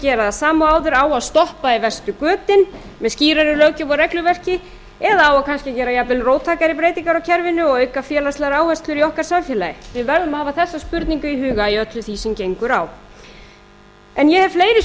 gera það sama og áður á að stoppa í verstu götin með skýrari löggjöf og regluverki eða á kannski að gera jafnvel róttækari breytingar á kerfinu og auka félagslegar áherslur í okkar samfélagi við verðum að hafa þessa spurningu í huga í öllu því sem gengur á en ég hef fleiri